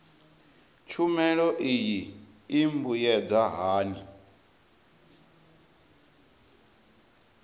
tshumelo iyi i mbuyedza hani